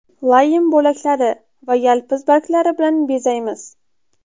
Laym bo‘laklari va yalpiz barglari bilan bezaymiz.